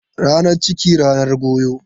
Ranan ciki, ranan goyo.